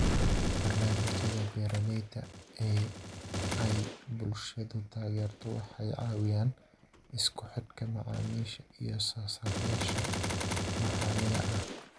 Barnaamijyada beeralayda ee ay bulshadu taageerto waxa ay caawiyaan isku xidhka macaamiisha iyo soosaarayaasha maxaliga ah.